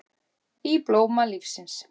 Í blóma lífsins